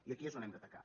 i aquí és on hem d’atacar